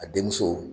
A den muso